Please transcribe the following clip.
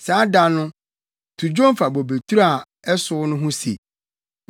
Saa da no, “To dwom fa bobeturo a ɛsow no ho se: